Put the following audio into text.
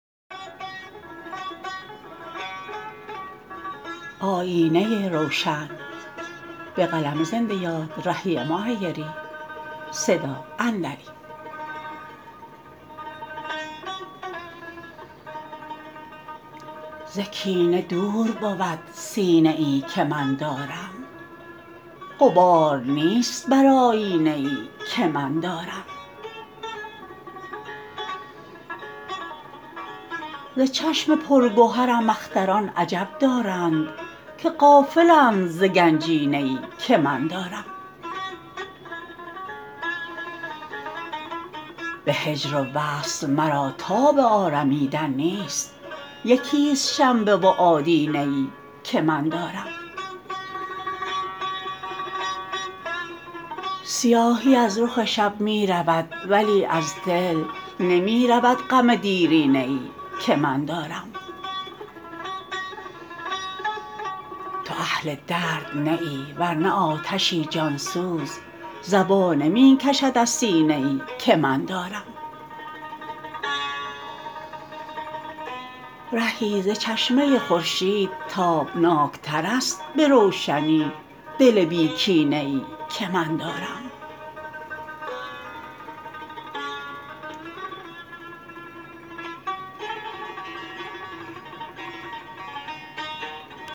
ز کینه دور بود سینه ای که من دارم غبار نیست بر آیینه ای که من دارم ز چشم پرگهرم اختران عجب دارند که غافلند ز گنجینه ای که من دارم به هجر و وصل مرا تاب آرمیدن نیست یکی ست شنبه و آدینه ای که من دارم سیاهی از رخ شب می رود ولی از دل نمی رود غم دیرینه ای که من دارم تو اهل درد نه ای ورنه آتشی جان سوز زبانه می کشد از سینه ای که من دارم رهی ز چشمه خورشید تابناک تر است به روشنی دل بی کینه ای که من دارم